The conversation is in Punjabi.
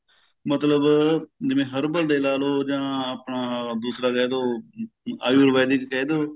ਮਤਲਬ ਜਿਵੇਂ herbal ਦੇ ਲਾ ਲੋ ਜ ਆਪਣਾ ਦੂਸਰਾ ਕਹਿ ਦੋ ayurvedic ਕਹਿਦੋ